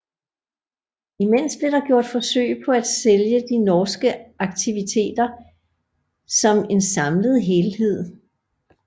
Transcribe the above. Imens blev der gjort forsøg på at sælge de norske aktiviteter som en samlet helhed